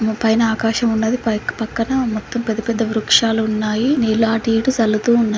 పైన ఆకాశమున్నది. పక్కన మొత్తం పెద్దపెద్ద వృక్షాలు ఉన్నాయి. నీళ్లు అటు ఇటు సల్లుతూ ఉన్నాయి.